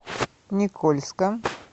никольска